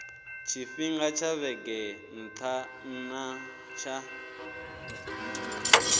tshifhinga tsha vhege nna tsha